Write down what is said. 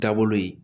Taabolo ye